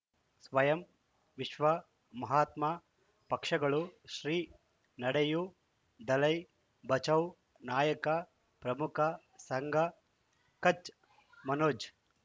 ಸ್ವಯಂ ವಿಶ್ವ ಮಹಾತ್ಮ ಪಕ್ಷಗಳು ಶ್ರೀ ನಡೆಯೂ ದಲೈ ಬಚೌ ನಾಯಕ ಪ್ರಮುಖ ಸಂಘ ಕಚ್ ಮನೋಜ್